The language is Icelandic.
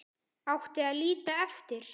Átti að líta eftir